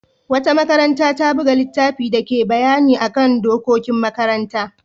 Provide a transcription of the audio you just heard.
Wata makaranta ta buga littafin dake bayani kan dokokin makaranta.